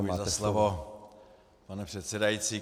Děkuji za slovo, pane předsedající.